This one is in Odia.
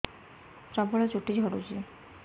ପ୍ରବଳ ଚୁଟି ଝଡୁଛି